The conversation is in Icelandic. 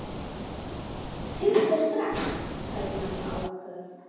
Hringdu strax, sagði mamma áköf.